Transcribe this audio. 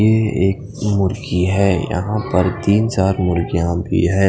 ये एक मुर्गी हे यहाँ पर तीन चार मुर्गिया भी हैं।